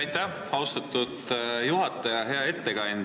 Aitäh, austatud juhataja!